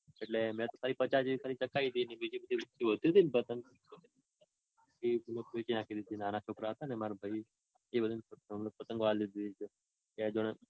એટલે મેતો ખાલી પચા જેવી ચગાવી તી અને બીજી બધી જે વધતી તી ને પતંગ. એ બધી વેચી નાખી નાના છોકરાઓ છેને માર ભાઈ એ બધાને પતંગો આપી દીધી.